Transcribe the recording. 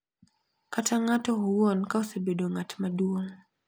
Kata ng`ato owuon ka osebedo ng`at maduong`.